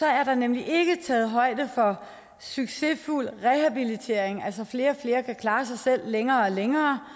er der nemlig ikke taget højde for succesfuld rehabilitering altså at flere og flere kan klare sig selv i længere og længere